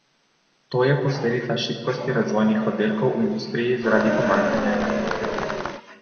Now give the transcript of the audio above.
To je posledica šibkosti razvojnih oddelkov v industriji zaradi pomanjkanja inženirjev.